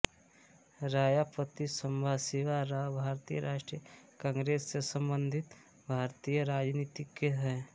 रायापति संबाशिवा राव भारतीय राष्ट्रीय कांग्रेस से संबंधित भारतीय राजनीतिज्ञ हैं